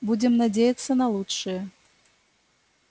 будем надеяться на лучшее